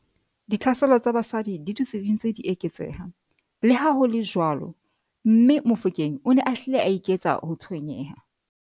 Ditlhaselo tsa basadi di dutse di ntse di eketseha, leha ho le jwalo, mme Mofokeng o ne a hlile a eketsa ho tshwenyeha.